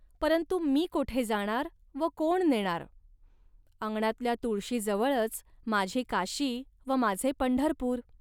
परंतु मी कोठे जाणार व कोण नेणार. अंगणातल्या तुळशीजवळच माझी काशी व माझे पंढरपूर